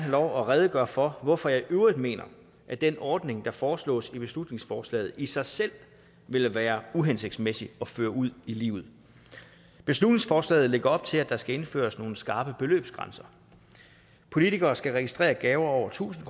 lov at redegøre for hvorfor jeg i øvrigt mener at den ordning der foreslås i beslutningsforslaget i sig selv vil være uhensigtsmæssig at føre ud i livet beslutningsforslaget lægger op til at der skal indføres nogle skarpe beløbsgrænser politikere skal registrere gaver over tusind